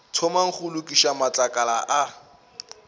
thomang go lokiša matlakala a